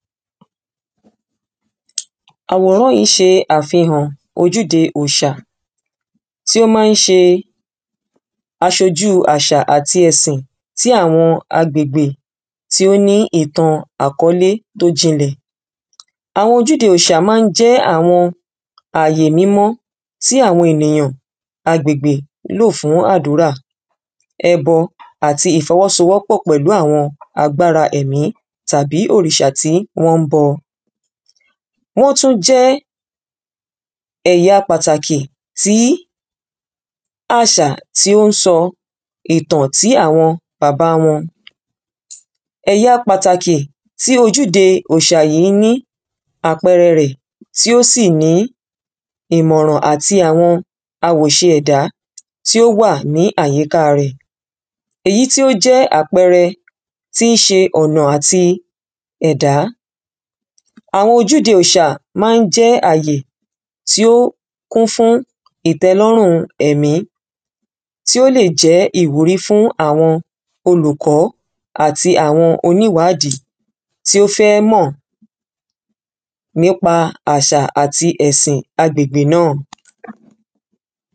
àwòrã́ yìí ń ṣe àfihàn ojúde òòṣà ti ó ma ń ṣe aṣojú àṣà àti ẹ̀sìn tí àwọn agbègbè tí ó ní ìtàn àkọ́lé tó jinlẹ̀ àwọn ojúde òòṣà ma ń jẹ́ àwọn àyè mímọ́ tí àwọn èyàn, agbègbè, ń lò fún àdúrà. ebọ àti ìfọwọ́sowọ́pọ̀ pẹ̀lú àwọn agbára ẹ̀mi tàbí òrìṣà tí wọ́n ń bọ wọ́n tún jẹ́ ẹ̀ya pàtàkì tí àṣà tí ó ń sọ ìtàn tí àwọn bàba wọn èyà pàtàkì tí ojúde òòṣà yìí ni àpẹẹrẹ rẹ̀ tí ó sì ní ìmọ̀ràn àti àwọn awòṣe ẹ̀dá tí ó wà ní àyíká rẹ̀ èyí tí ó jẹ́ àpẹẹrẹ tíí ṣe ọ̀nà àti ẹ̀dá àwọn ojúde òòṣà ma ń jẹ́ àyè tí ó kún fún ìtẹ́lọ́rùn ẹ̀mi tí ó lè jẹ́ ìwúrí fún àwọn olùkọ́ àti àwọn oníwadi tí ó fẹ́ mọ̀ nípa àṣà àti ẹ̀sìn agbègbè náà